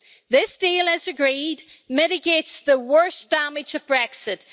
This deal as agreed mitigates the worst damage of Brexit.